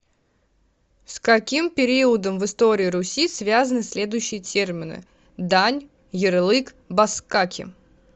с каким периодом в истории руси связаны следующие термины дань ярлык баскаки